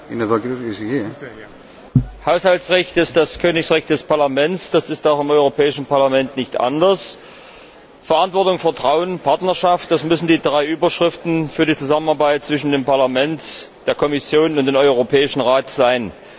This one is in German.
Herr Präsident! Das Haushaltsrecht ist das Königsrecht des Parlaments. Das ist auch im Europäischen Parlament nicht anders. Verantwortung, Vertrauen, Partnerschaft das müssen die drei Überschriften für die Zusammenarbeit zwischen dem Parlament, der Kommission und dem Rat sein.